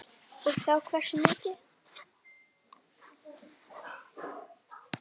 Og þá hversu mikið.